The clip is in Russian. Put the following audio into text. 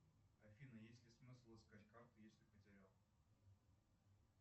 афина есть ли смысл искать карту если потерял